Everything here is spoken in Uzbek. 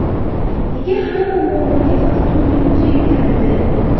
Nega hamma muammoga faqat uning o‘zi yuguradi?